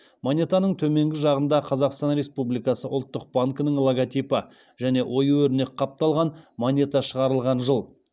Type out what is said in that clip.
монетаның төменгі жағында қазақстан республикасы ұлттық банкінің логотипі және ою өрнек қапталған монета шығарылған жыл